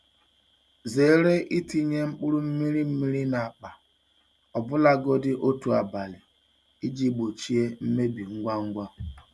Zere itinye mkpụrụ mmiri mmiri n'akpa, ọbụlagodi otu abalị, iji gbochie mmebi ngwa ngwa.